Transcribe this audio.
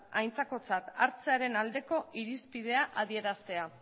aintzakotzat hartzearen aldeko irizpidea adieraztea